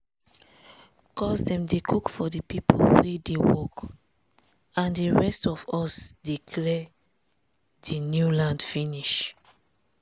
cuz dem dey cook for di pipo wey dey work and di rest of us dey clear di new land finish.